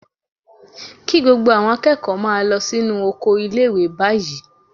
Kí gbogbo àwọn akẹ́kọ̀ọ́ máa lọ sínú oko ilé-ìwé báyìí